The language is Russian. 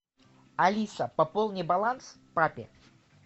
алиса пополни баланс папе